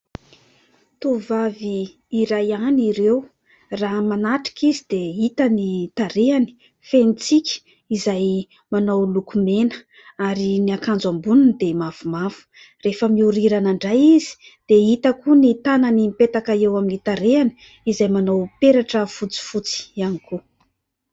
Tovovavy iray ihany ireo raha manatrika izy dia hita ny tarehany feno tsiky izay manao lokomena ary ny akanjo amboniny dia mavomavo ; rehefa mihorirana indray izy dia hita koa ny tanany mipetaka eo amin'ny tarehany izay manao peratra fotsifotsy ihany koa.